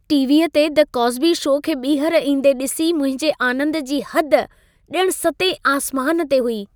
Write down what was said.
टीवीअ ते "the Cosby show" खे ॿीहर ईंदे ॾिसी मुंहिजे आनंद जी हद ॼणु सतें आसमान ते हुई।